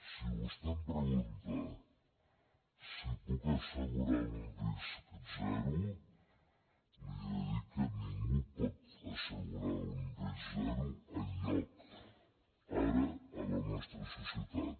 si vostè em pregunta si puc assegurar un risc zero li he de dir que ningú pot assegurar un risc zero enlloc ara a la nostra societat